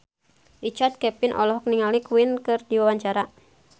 Richard Kevin olohok ningali Queen keur diwawancara